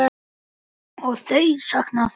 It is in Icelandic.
Ó, þau sakna þín.